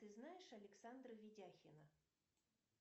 ты знаешь александра видяхина